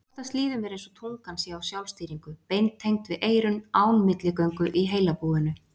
Oftast líður mér einsog tungan sé á sjálfstýringu, beintengd við eyrun án milligöngu í heilabúinu.